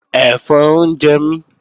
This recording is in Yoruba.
Ẹ̀fọn ń jẹ mí